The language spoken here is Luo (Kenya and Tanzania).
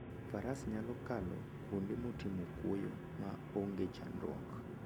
Faras nyalo kalo kuonde motimo kwoyo ma onge chandruok.